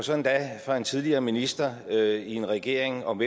og så endda fra en tidligere minister i en regering om